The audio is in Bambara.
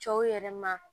Cɛw yɛrɛ ma